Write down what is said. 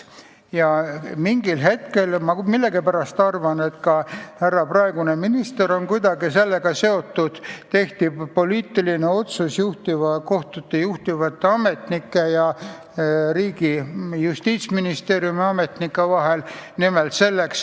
Ja mingil hetkel – ma millegipärast arvan, et ka härra praegune minister on kuidagi sellega seotud – tehti poliitiline otsus kohtute juhtivate ametnike ja riigi Justiitsministeeriumi ametnike vahel, et määruskaebused on ka kõik edasikaevatavad.